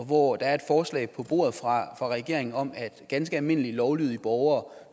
og hvor der er et forslag på bordet fra regeringen om at ganske almindelige lovlydige borgere